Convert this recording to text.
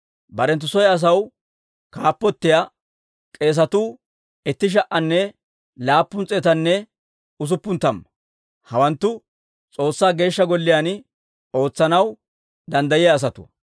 Barenttu soy asaw kaappotiyaa k'eesatuu itti sha"anne laappun s'eetanne usuppun tamma. Hawanttu S'oossaa Geeshsha Golliyaan ootsanaw danddayiyaa asatuwaa.